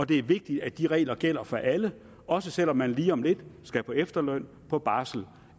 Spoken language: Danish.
det er vigtigt at de regler gælder for alle også selv om man lige om lidt skal på efterløn på barsel